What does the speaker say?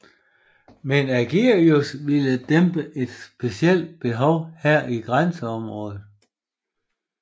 Men Ægidius ville dække et specielt behov her i grænseområdet